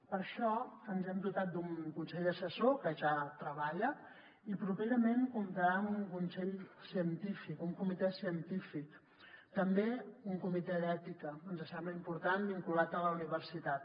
per això ens hem dotat d’un consell assessor que ja treballa i properament comptarà amb un consell científic un comitè científic també un comitè d’ètica ens sembla important vinculat a la universitat